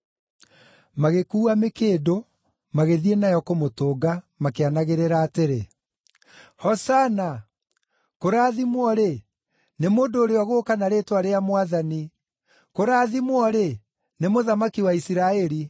Magĩkuua mĩkĩndũ, magĩthiĩ namo kũmũtũnga, makĩanagĩrĩra atĩrĩ, “Hosana!” “Kũrathimwo-rĩ, nĩ mũndũ ũrĩa ũgũũka na rĩĩtwa rĩa Mwathani!” “Kũrathimwo-rĩ, nĩ Mũthamaki wa Isiraeli!”